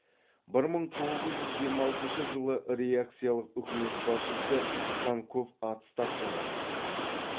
бір мың тоғыз жүз жиырма алтыншы жылы реакциялық үкімет басшысы цанков отставкаға кетті